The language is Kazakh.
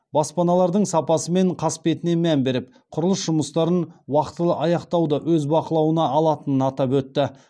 баспаналардың сапасы мен қасбетіне мән беріп құрылыс жұмыстарын уақтылы аяқтауды өз бақылауына алатынын атап өтті